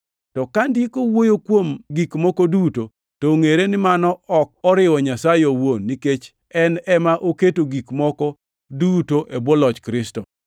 To ka gik moko duto oseketi e bwo loch Kristo, bangʼe en bende enobed e bwo loch Nyasaye, mane oketo gik moko duto e bwoye, mondo Nyasaye obed gi loch ewi gik moko duto.